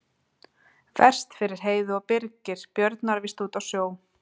Verst fyrir Heiðu að Birgir Björn var víst úti á sjó.